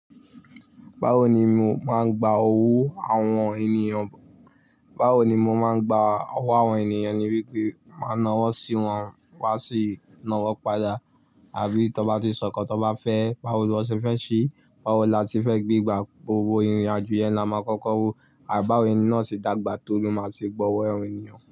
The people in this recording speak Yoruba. Báwo ni mo máa ń gba owó àwọn ènìyàn? Báwo ni mo máa ń gba owó àwọn ènìyàn, ni wípé máa na wọ́n sí wọn, wọn sì na wọ́ pada. Àbí tó bá ti sọkọ, tó bá fẹ́ báwo lọ ṣe fẹ́ ṣe, báwo la ti fẹ́ gbé, gbà gbogbo ìrìn-àjò yẹn la máa kọ́kọ́ wo. Àì bí áwon ẹni náà ṣe dàgbà tó ló máa ṣe gba ọwọ́ àwọn ènìyàn.